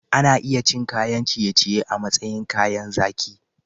Ana iya cin kayan ciye-ciye a matsayin kayan zaki.